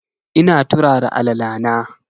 Ina turara alala na.